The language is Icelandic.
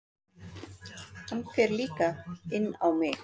Hann fer líka inn á mig.